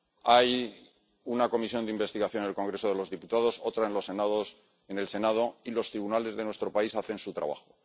Hay una comisión de investigación en el Congreso de los Diputados, otra en el Senado y los tribunales de nuestro país hacen su trabajo.